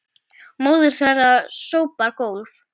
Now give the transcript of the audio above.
Móðir þeirra sópar gólf